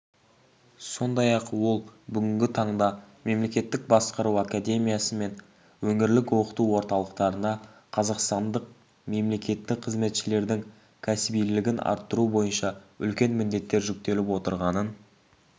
сондай-ақ ол бүгінгі таңда мемлекеттік басқару академиясы мен ңірлік оқыту орталықтарына қазақстандық мемлекеттік қызметшілердің кәсібилігін арттыру бойынша үлкен міндеттер жүктеліп отырғанын